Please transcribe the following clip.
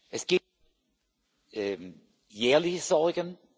Es gibt jährliche Sorgen.